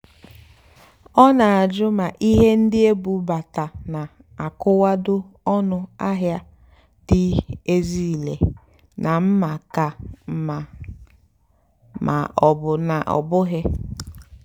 ọ́ nà-àjụ́ mà íhé ndí ébúbátá nà-ákùwádò ónú àhịá há dì ézílé nà mmá kà mmá mà ọ́ bụ́ ná ọ́ bụ́ghị́.